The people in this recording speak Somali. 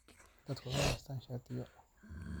Dadku waa inay haystaan ??shatiyo.